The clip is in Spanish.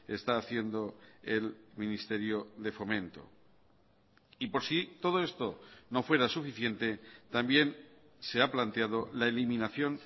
está haciendo el ministerio de fomento y por si todo esto no fuera suficiente también se ha planteado la eliminación